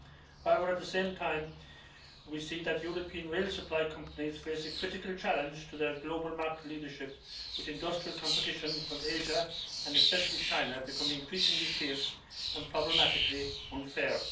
However, at the same time, we see that European rail supply companies face a critical challenge to their global market leadership with industrial competition from Asia, and especially China, becoming increasingly fierce and problematically unfair.